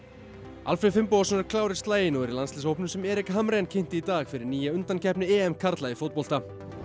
Alfreð Finnbogason er klár í slaginn og er í landsliðshópnum sem Erik Hamrén kynnti í dag fyrir undankeppni karla í fótbolta